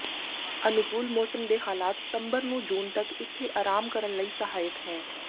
ਅਨੁਕੂਲ ਮੌਸਮ ਦੇ ਹਾਲਾਤ ਸਤੰਬਰ ਨੂੰ ਜੂਨ ਤੱਕ ਇੱਥੇ ਆਰਾਮ ਕਰਨ ਲਈ ਸਹਾਇਕ ਹੈ